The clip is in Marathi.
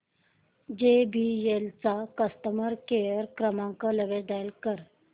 जेबीएल चा कस्टमर केअर क्रमांक लगेच डायल कर